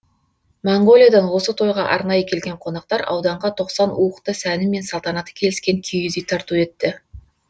моңғолиядан осы тойға арнайы келген қонақтар ауданға тоқсан уықты сәні мен салтанаты келіскен киіз үй тарту етті